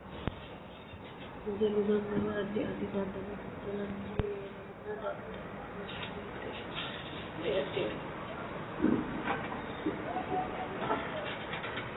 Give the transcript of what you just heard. Wedellu ganbba yee addi addi dadda'lo dadda'lanni leelanno daddalu manchi beetira addi addi horo aano anno horonno manchu umosino ikko maatesi woyeese heerate lowo horo aano